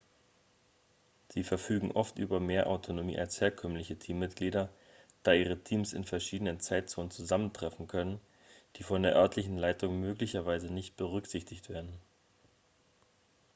sie verfügen oft über mehr autonomie als herkömmliche teammitglieder da ihre teams in verschiedenen zeitzonen zusammentreffen können die von der örtlichen leitung möglicherweise nicht berücksichtigt werden